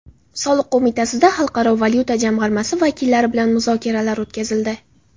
Soliq qo‘mitasida Xalqaro valyuta jamg‘armasi vakillari bilan muzokaralar o‘tkazildi.